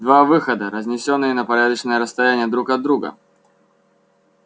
два выхода разнесённые на порядочное расстояние друг от друга